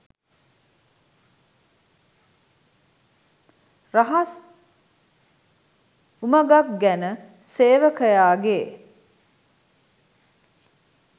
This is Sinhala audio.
රහස් උමඟක් ගැන සේවකයාගේ